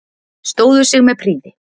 Stóðu sig með prýði